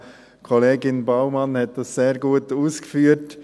Kollegin Baumann hat das alles sehr gut ausgeführt.